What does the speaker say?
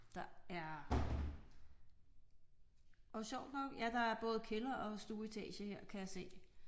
Der er og sjovt nok ja der er både kælder og stueetage her kan jeg se